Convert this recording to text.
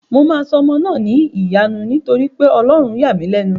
Mo máa sọ ọmọ náà ní Ìyanu nítorí pé Ọlọ́run yà mí lẹ́nu